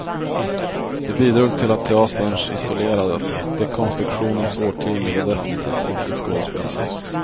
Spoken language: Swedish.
Det bidrog till att teaterns isolerades, dekonstruktionens årtionde var definitivt inte skådespelarens.